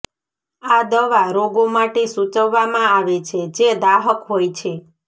આ દવા રોગો માટે સૂચવવામાં આવે છે જે દાહક હોય છે